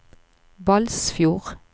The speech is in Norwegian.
Balsfjord